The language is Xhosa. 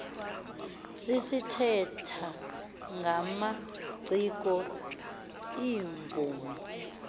sithetha ngamaciko iimvumi